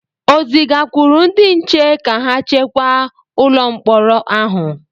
o zigakwuru ndị nche ka ha chekwa ụlọ mkpọrọ ahụ?